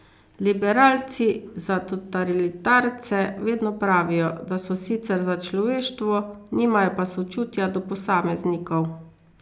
Liberalci za totalitarce vedno pravijo, da so sicer za človeštvo, nimajo pa sočutja do posameznikov.